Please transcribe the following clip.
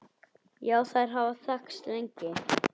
Já, þær hafa þekkst lengi.